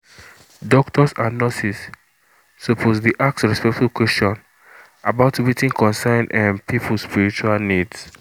doctors and nurses suppose dey ask respectful question about wetin concern um people spiritual needs